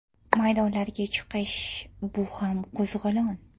Maydonlarga chiqish bu ham qo‘zg‘olon.